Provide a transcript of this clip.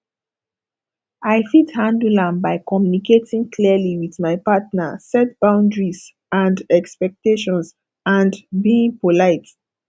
i fit handle am by communicating clearly with my partner set boundaries and expectations and being polite